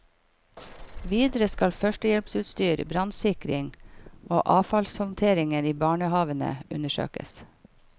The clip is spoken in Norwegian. Videre skal førstehjelpsutstyr, brannsikring og avfallshåndteringen i barnehavene undersøkes.